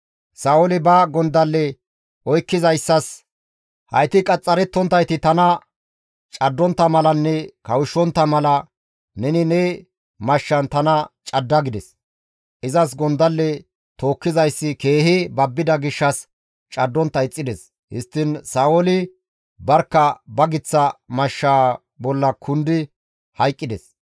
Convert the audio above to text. Sa7ooli ba gondalle oykkizayssas, «Hayti qaxxarettonttayti tana caddontta malanne kawushshontta mala neni ne mashshan tana cadda» gides. Izas gondalle tookkizayssi keehi babbida gishshas caddontta ixxides. Histtiin Sa7ooli barkka ba giththa mashshaa bolla kundi hayqqides.